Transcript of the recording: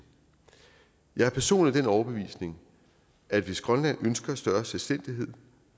jeg er personligt af den overbevisning at hvis grønland ønsker større selvstændighed